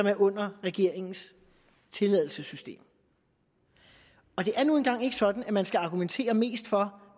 er under regeringens tilladelsessystem og det er nu engang ikke sådan at man skal argumentere mest for